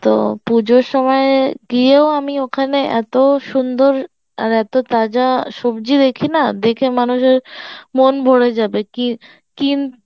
তো পুজোর সময় গিয়েও আমি ওখানে এত সুন্দর এত তাজা সবজি দেখিনা দেখে মানুষের মন ভরে যাবে কি কিন